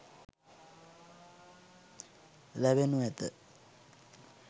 ලැබෙනු ඇත.